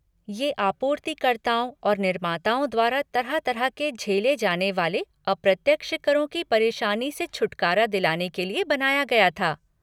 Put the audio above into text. ये आपूर्तिकर्ताओं और निर्माताओं द्वारा तरह तरह के झेले जाने वाले अप्रत्यक्ष करों की परेशानी से छुटकारा दिलाने के लिए बनाया गया था।